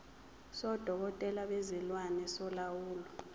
sodokotela bezilwane solawulo